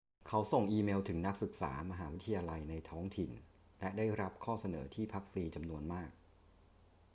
เขาส่งอีเมลถึงนักศึกษามหาวิทยาลัยในท้องถิ่นและได้รับข้อเสนอที่พักฟรีจำนวนมาก